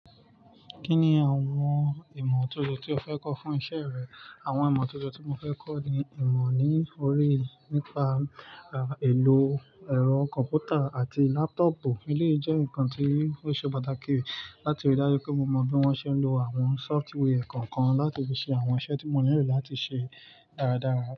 Kí ni àwọn ìmọ̀ tójo tí o fẹ́ kọ́ fún iṣẹ́ rẹ? Àwọn ìmọ̀ tójo tí mo fẹ́ kọ́ ni ìmọ̀ ní oríi nípa, à, ìlò ẹ̀rọ kọ̀mpútà àti lápútọ̀pù. Eléyi ìjẹ́ nǹkan tí ó ṣe pàtàkì láti rí i dájú pé mo mọ bí wọ́n ṣe ń lo àwọn sọ́fútwéẹ̀ kọ̀ọ̀kan láti fi ṣe àwọn iṣẹ́ tí mo nílò láti ṣe dáradára.